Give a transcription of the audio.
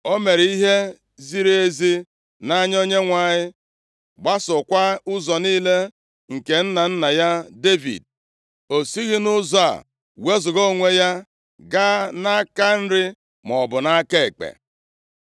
O mere ihe ziri ezi nʼanya Onyenwe anyị, gbasookwa ụzọ niile nke nna nna ya Devid, o sighị nʼụzọ a wezuga onwe ya gaa nʼaka nri maọbụ nʼaka ekpe.